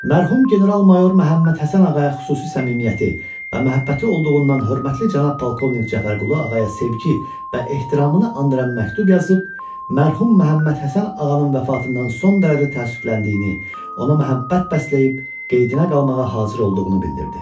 Mərhum General-mayor Məhəmməd Həsən ağaya xüsusi səmimiyyəti və məhəbbəti olduğundan hörmətli cənab Polkovnik Cəfərqulu ağaya sevgi və ehtiramını andıran məktub yazıb, mərhum Məhəmməd Həsən ağanın vəfatından son dərəcə təəssüfləndiyini, ona məhəbbət bəsləyib, qeydinə qalmağa hazır olduğunu bildirdi.